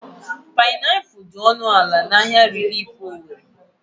Painapụl dị ọnụ ala n'ahia rilif Owere.